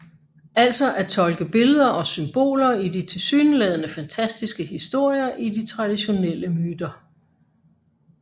Altså at tolke billeder og symboler i de tilsyneladende fantastiske historier i de traditionelle myter